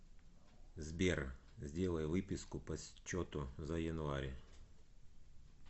сбер сделай выписку по счету за январь